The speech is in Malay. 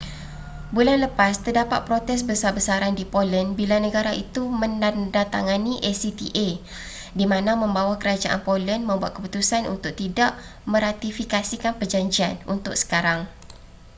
bulan lepas terdapat protes besar-besaran di poland bila negara itu menandatangani acta di mana membawa kerajaan poland membuat keputusan untuk tidak meratifikasikan perjanjian untuk sekarang